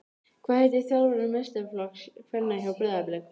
Hvað heitir þjálfari meistaraflokks kvenna hjá Breiðablik?